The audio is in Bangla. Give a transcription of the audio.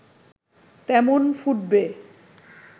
তেমন ফুটবে